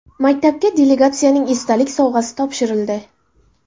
Maktabga delegatsiyaning esdalik sovg‘asi topshirildi.